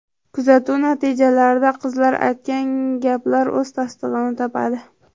Kuzatuv natijalarida qizlar aytgan gaplar o‘z tasdig‘ini topadi.